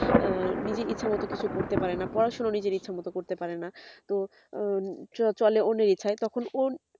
আঃ নিজের ইচ্ছা মতো কিছু করতে পারেনা পড়াশুনো কিছু করতে পারেনা তো চলে অন্যের ইচ্ছাই তখন ওর